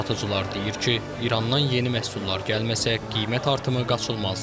Satıcılar deyir ki, İrandan yeni məhsullar gəlməsə, qiymət artımı qaçılmazdır.